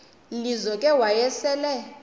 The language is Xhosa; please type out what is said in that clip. lizo ke wayesel